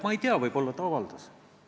Ma ei tea, võib-olla ta on midagi avaldanud.